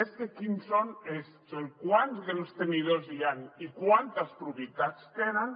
més que quins són és quants grans tenidors i quantes propietats tenen